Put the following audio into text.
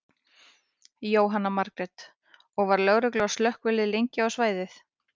Jóhanna Margrét: Og var, var lögregla og slökkvilið lengi á svæðið?